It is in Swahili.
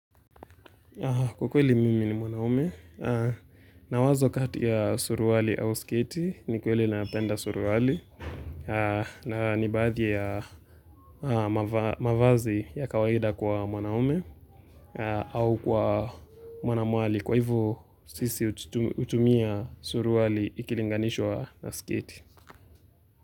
Ukweli mimi ni mwanaume, na wazo kati ya suruwali au sketi ni kweli napenda suruali na ni baadhi ya mavazi ya kawaida kwa mwanaume au kwa mwanaume kwa hivo sisi utumia suruali ikilinganishwa na sketi.